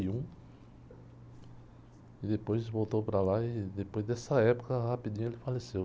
E depois voltou para lá e depois dessa época, rapidinho ele faleceu.